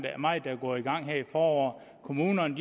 meget der går i gang her i foråret kommunerne